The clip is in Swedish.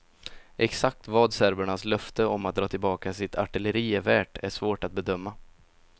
Exakt vad serbernas löfte om att dra tillbaka sitt artilleri är värt är svårt att bedöma.